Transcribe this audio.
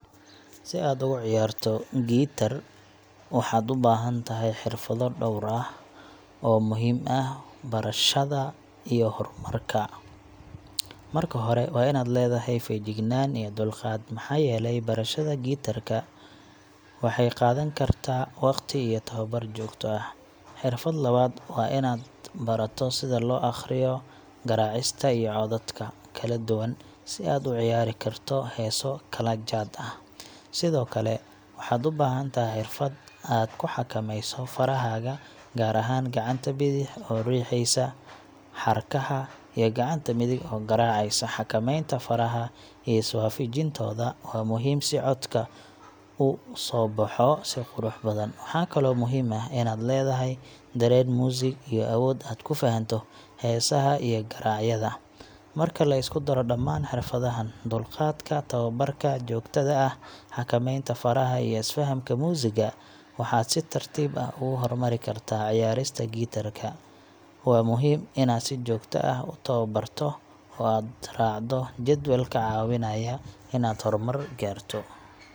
Si aad ugu ciyaarto guitar, waxaad u baahan tahay xirfado dhowr ah oo muhiim u ah barashada iyo horumarka. Marka hore, waa inaad leedahay feejignaan iyo dulqaad, maxaa yeelay barashada guitar-ka waxay qaadan kartaa waqti iyo tababar joogto ah. Xirfadda labaad waa inaad barato sida loo akhriyo garaacista iyo codadka kala duwan, si aad u ciyaari karto heeso kala jaad ah. Sidoo kale, waxaad u baahan tahay xirfad aad ku xakameyso farahaaga, gaar ahaan gacanta bidix oo riixaysa xadhkaha, iyo gacanta midig oo garaacaysa. Xakameynta faraha iyo iswaafajintooda waa muhiim si codka u soo baxo si qurux badan. Waxaa kaloo muhiim ah inaad leedahay dareen muusig iyo awood aad ku fahanto heesaha iyo garaacyada. Marka la isku daro dhammaan xirfadahaan dulqaadka, tababarka joogtada ah, xakameynta faraha, iyo fahamka muusigga waxaad si tartiib ah ugu horumari kartaa ciyaarista guitar ka. Waa muhiim inaad si joogto ah u tababarto oo aad raacdo jadwal kaa caawinaya inaad horumar gaarto.